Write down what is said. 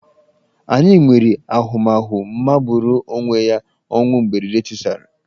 Anyị nwere ahụmahụ magburu onwe ya ọnwụ mberede tisara.